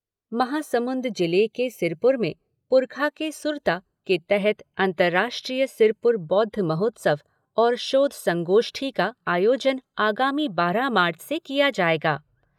महासमुंद जिले के सिरपुर में पुरखा के सुरता के तहत अंतर्राष्ट्रीय सिरपुर बौद्ध महोत्सव और शोध संगोष्ठी का आयोजन आगामी बारह मार्च से किया जाएगा।